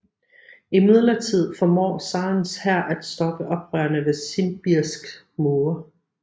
Imidlertid formår zarens hær at stoppe oprørerne ved Simbirsks mure